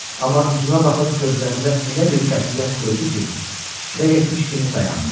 Amma üzümə baxıb gözlərimdə elə bir qətiyyət gördü ki, fikrə getmiş kimi dayandı.